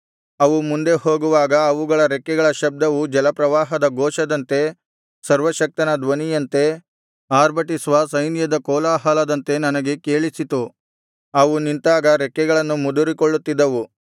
ಅವು ಮುಂದೆ ಹೋಗುವಾಗ ಅವುಗಳ ರೆಕ್ಕೆಗಳ ಶಬ್ದವು ಜಲಪ್ರವಾಹದ ಘೋಷದಂತೆ ಸರ್ವಶಕ್ತನ ಧ್ವನಿಯಂತೆ ಆರ್ಭಟಿಸುವ ಸೈನ್ಯದ ಕೋಲಾಹಲದಂತೆ ನನಗೆ ಕೇಳಿಸಿತು ಅವು ನಿಂತಾಗ ರೆಕ್ಕೆಗಳನ್ನು ಮುದುರಿಕೊಳ್ಳುತ್ತಿದ್ದವು